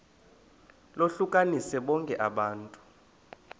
lohlukanise bonke abantu